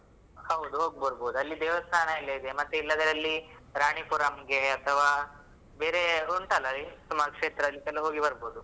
ಹೌದ್ ಹೋಗ್ಬರ್ಭುದ್ ಅಲ್ಲಿ ದೇವಸ್ಥಾನ ಎಲ್ಲ ಇದೆ ಮತ್ತೆ ಇಲ್ಲದ್ರೆ ಅಲ್ಲಿ ರಾಣಿಪುರಂಗೆ, ಅಥವಾ ಬೇರೆ ಉಂಟಲ್ಲ ಸುಮಾರ್ place ಗಳಿಗೆಲ್ಲ ಹೋಗಿ ಬರಬಹುದು.